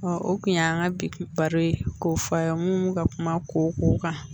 o kun ye an ka bi baro ye k'o fɔ a ye mun ka kuma kow kan